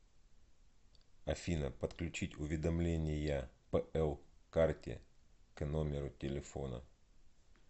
афина подключить уведомления пл карте к номеру телефона